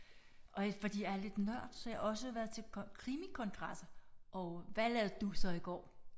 Og fordi jeg er lidt en nørd så har jeg også været til krimikongresser og hvad lavede du så i går?